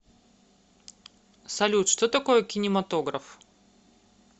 салют что такое кинематограф